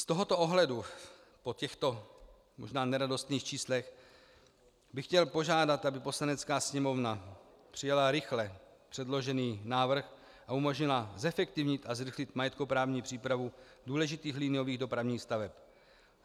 Z tohoto ohledu po těchto možná neradostných číslech bych chtěl požádat, aby Poslanecká sněmovna přijala rychle předložený návrh a umožnila zefektivnit a zrychlit majetkoprávní přípravu důležitých liniových dopravních staveb.